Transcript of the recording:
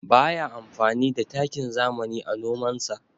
Ba ya amfani da takin zamani a nomansa.